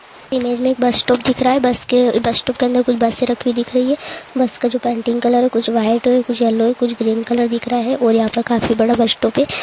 Image में एक bus stop दिख रहा है बस के उः बसस्टॉप के अंदर कुछ बसे रखी हुई दिख रही है बस का जो पेंटिंग कलर है कुछ वाइट है कुछ येलो है कुछ ग्रीन कलर दिख रहा है और यहाँ पर काफी बड़ा बसस्टॉप है।